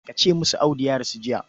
Ka ce musu Audu ya rasu jiya.